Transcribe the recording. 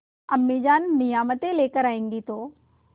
अम्मीजान नियामतें लेकर आएँगी तो